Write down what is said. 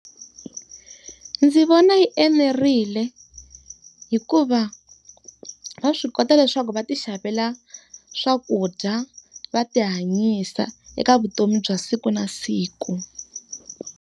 Ndzi vona yi enerile hikuva, va swi kota leswaku va ti xavela swakudya, va ti hanyisa eka vutomi bya siku na siku.